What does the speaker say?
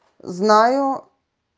знаю